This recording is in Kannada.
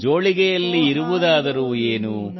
ಜೋಳಿಗೆಯಲ್ಲಿ ಇರುವುದಾದರೂ ಏನು